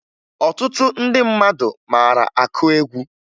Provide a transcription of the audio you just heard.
Ọtụtụ ndị mmadụ mara akụ egwu